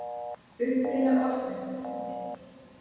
Uppruni orðsins er umdeildur.